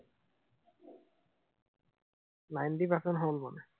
Ninety percent হল মানে।